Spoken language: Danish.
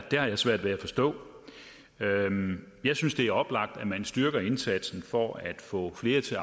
svært ved at forstå jeg synes det er oplagt at man styrker indsatsen for at få flere til